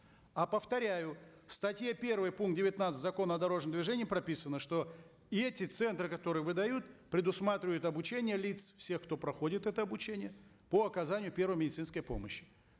а повторяю в статье первой пункт девятнадцатый закона о дорожном движении прописано что эти центры которые выдают предусматривают обучение лиц все кто проходит это обучение по оказанию первой медицинской помощи